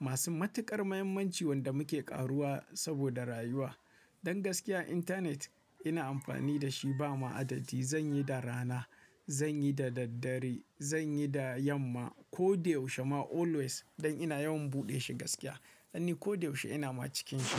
Masu matuƙar muhimmanci wanda muke ƙaruwa saboda rayuwa. Don gaskiya internet ina amfani da shi ba ma adadi. Zan yi da rana, zan yi da daddare, zan yi da yamma. Ko da yaushe ma always don ina yawan buɗe shi gaskiya. Dan ni ko da yaushe ina ma cikin shi.